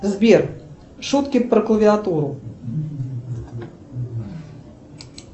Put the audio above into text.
сбер шутки про клавиатуру